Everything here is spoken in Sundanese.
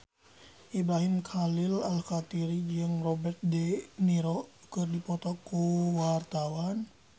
Ibrahim Khalil Alkatiri jeung Robert de Niro keur dipoto ku wartawan